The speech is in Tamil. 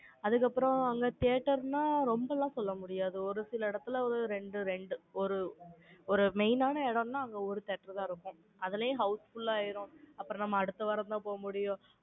அதுக்கப்புறம், அங்க theatre ன்னா, ரொம்ப எல்லாம் சொல்ல முடியாது. ஒரு சில இடத்துல, ஒரு இரண்டு, இரண்டு, ஒரு, ஒரு main ஆன இடம்ன்னா, அங்க ஒரு theatre தான் இருக்கும். அதுலயும் houseful ஆயிரும். அப்புறம், நம்ம அடுத்த வாரம்தான், போக முடியும்.